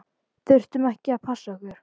Þurftum að passa okkur.